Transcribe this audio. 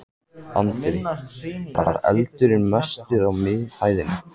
Andri: Var eldurinn mestur á miðhæðinni?